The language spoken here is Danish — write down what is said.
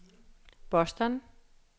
Boston